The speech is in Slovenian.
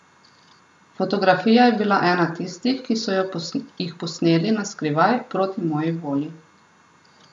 Fotografija je bila ena tistih, ki so jih posneli na skrivaj, proti moji volji.